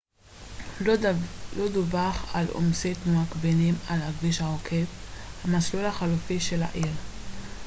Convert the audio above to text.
לא דווח על עומסי תנועה כבדים על הכביש העוקף המסלול החלופי של העיר